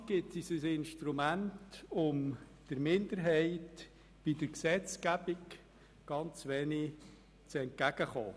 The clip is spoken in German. Die Verfassung des Kantons Bern (KV) gibt uns ein Instrument, um der Minderheit bei der Gesetzgebung ein wenig entgegenzukommen.